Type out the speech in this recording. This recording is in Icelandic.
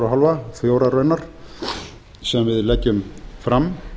hálfa fjórar raunar sem við leggjum fram